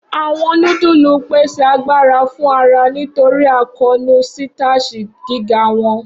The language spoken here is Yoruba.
Awọn nudulu n pese agbara fun ara nitori akoonu sitashi giga wọn.